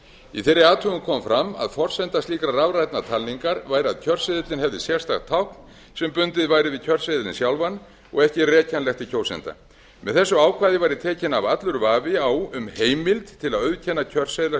í þeirri athugun kom fram að forsenda slíkrar rafrænnar talningar væri að kjörseðillinn hefði sérstakt tákn sem bundið væri við kjörseðilinn sjálfan og ekki er rekjanlegt til kjósenda með þessu ákvæði væri tekinn af allur vafi á um heimild til að auðkenna kjörseðla